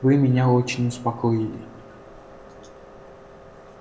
вы меня очень успокоили